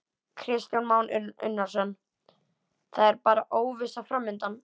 Kristján Már Unnarsson: Það er bara óvissa framundan?